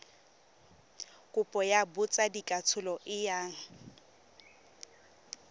kopo ya botsadikatsholo e yang